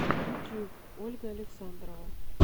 ютюб ольга александрова